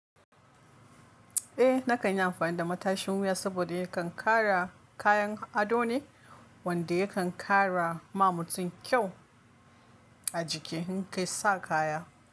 Eh nakan yi amfani da matashin wuya saboda yakan kara kayan ado ne wanda yakan kara ma mutum kyau a jiki in kai sa kaya.